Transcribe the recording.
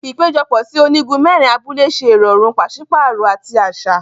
Ipejọpọ sí ònígún mẹrin abúlé ṣe irọrun paṣipaarọ ati aṣa.